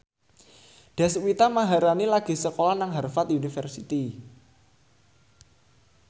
Deswita Maharani lagi sekolah nang Harvard university